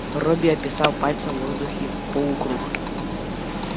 робби описал пальцем в воздухе полукруг